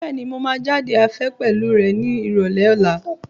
Bẹ́ẹ̀ni, mo máa jáde afẹ́ pẹ̀lú rẹ̀ ní Ìrọ̀lẹ́ ọ̀la.